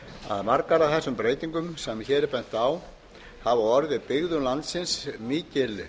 að margar af þessum breytingum sem hér er bent á hafa orðið byggðum landsins mikil